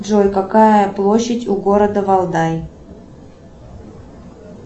джой какая площадь у города валдай